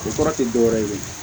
O kɔrɔ tɛ dɔwɛrɛ ye